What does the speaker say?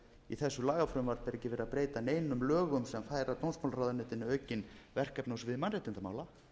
í þessu lagafrumvarpi er ekki verið að breyta neinum lögum sem færa dómsmálaráðuneytinu aukin verkefni á sviði mannréttindamála